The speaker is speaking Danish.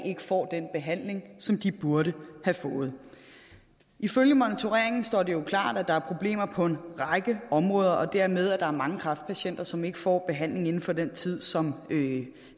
ikke får den behandling som de burde have fået ifølge monitoreringen står det jo klart at der er problemer på en række områder og dermed at der er mange kræftpatienter som ikke får behandling inden for den tid som